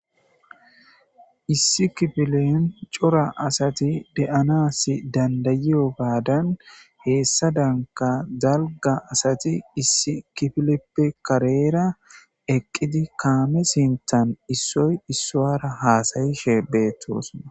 Issi kifilen cora asati de'anas dandayiyo baadan heessa danka zalga asati issi kifileppe kareera eqqidi kaame sintan issoy issuara haasayishe beettosona